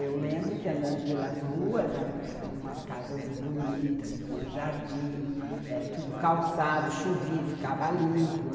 Eu lembro que, andando pelas ruas, tinha umas casas bonitas, tinha jardim, eh, tudo calçado, chovia, ficava limpo, né.